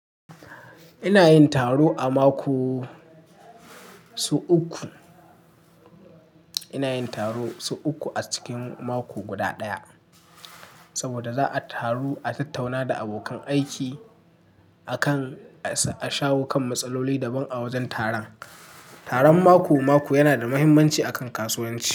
Ina yin taro a mako, su uku. Ina yin taro su uku a cikin mako guda ɗaya. Saboda za'a taru a tattauna da abokan aiki akan, a shawo kan matsaloli daban a wajen taron. Taron mako-mako yana da muhimmanci a kan kasuwanci.